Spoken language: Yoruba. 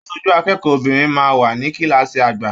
Aṣojú akẹ́kọ̀ọ́ obinrin máa n wà ní kilaasi àgbà.